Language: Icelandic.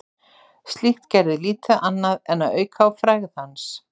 Slíkt gerði lítið annað en að auka á frægð hans.